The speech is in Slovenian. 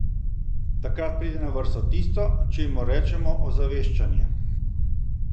Takrat pride na vrsto tisto, čemur rečemo ozaveščanje.